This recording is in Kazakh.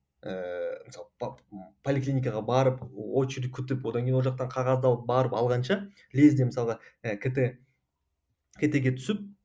ыыы мысалы поликлиникаға барып очередь күтіп одан кейін ол жақтан қағаз алып барып алғанша лезде мысалға ыыы кт кт ге түсіп